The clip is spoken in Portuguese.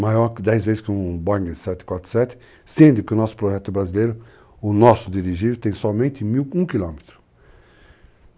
maior que dez vezes que um Boeing 747, sendo que o nosso projeto brasileiro, o nosso dirigível, tem somente mil e um quilômetros.